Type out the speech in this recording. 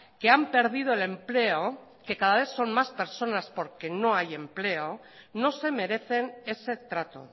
que han perdido el empleo que cada vez son más personas porque no hay empleo no se merecen ese trato